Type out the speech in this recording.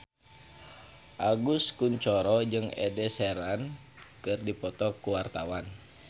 Agus Kuncoro jeung Ed Sheeran keur dipoto ku wartawan